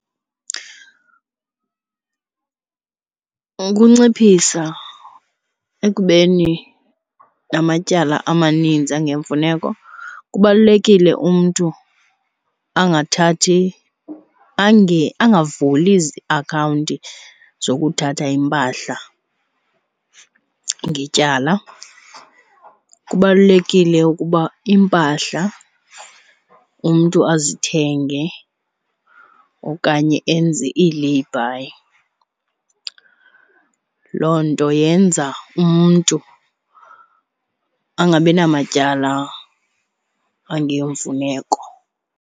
Ukunciphisa ekubeni namatyala amanintsi angeyomfuneko kubalulekile umntu angathathi angavuli ziakhawunti zokuthatha iimpahla ngetyala. Kubalulekile ukuba iimpahla umntu azithenge okanye enze ii-lay-by. Loo nto yenza umntu angabi namatyala angeyomfuneko.